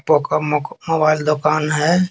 Poco मोको mobile दूकान है।